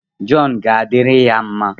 Jọn ga-adịrị gị mma